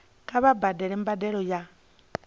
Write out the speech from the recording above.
kha vha badele mbadelo ya